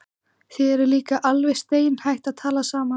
Þið eruð líka alveg steinhætt að tala saman.